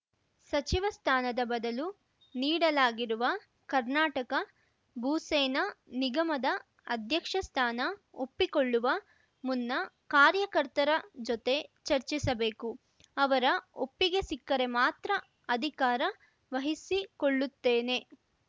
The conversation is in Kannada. ಸಚಿವ ಸ್ಥಾನದ ಬದಲು ನೀಡಲಾಗಿರುವ ಕರ್ನಾಟಕ ಭೂಸೇನಾ ನಿಗಮದ ಅಧ್ಯಕ್ಷ ಸ್ಥಾನ ಒಪ್ಪಿಕೊಳ್ಳುವ ಮುನ್ನ ಕಾರ್ಯಕರ್ತರ ಜೊತೆ ಚರ್ಚಿಸಬೇಕು ಅವರ ಒಪ್ಪಿಗೆ ಸಿಕ್ಕರೆ ಮಾತ್ರ ಅಧಿಕಾರ ವಹಿಸಿಕೊಳ್ಳುತ್ತೇನೆ